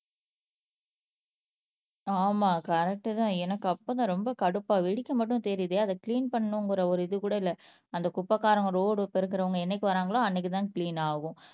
ஆமா கரெக்ட்தான் எனக்கு அப்பதான் ரொம்ப கடுப்பா வெடிக்க மட்டும் தெரியுதே அதை கிளீன் பண்ணணும்ங்கிற ஒரு இது கூட இல்லை அந்த குப்பைக்காரங்க ரோடு பெருக்கறவங்க என்னைக்கு வராங்களோ அன்னைக்குதான் கிளீன் ஆகும்